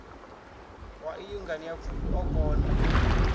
wa iyi nganeapfufhi o kona